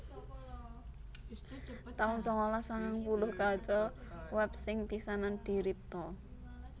taun sangalas sangang puluh Kaca web sing pisanan diripta